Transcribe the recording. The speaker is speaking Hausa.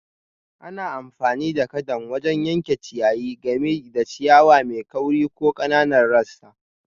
Ana amfani da kadan wajen yanke ciyayi, gami da ciyawa mai kauri da ƙananan rassa.